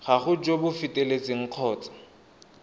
gago jo bo feteletseng kgotsa